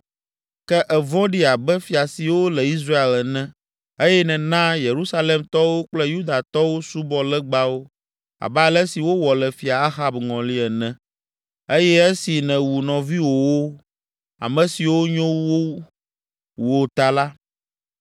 ke èvɔ̃ɖi abe fia siwo le Israel ene eye nèna Yerusalemtɔwo kple Yudatɔwo subɔ legbawo abe ale si wowɔ le Fia Ahab ŋɔli ene eye esi nèwu nɔviwòwo, ame siwo nyo wu wò ta la,